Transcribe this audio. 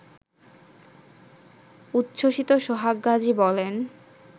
উচ্ছসিত সোহাগ গাজী বলেন